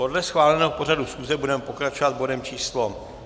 Podle schváleného pořadu schůze budeme pokračovat bodem číslo